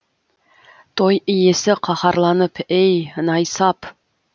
той иесі қаһарланып ей найсап